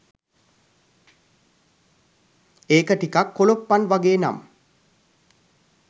ඒක ටිකක් කොලොප්පන් වගේ නම්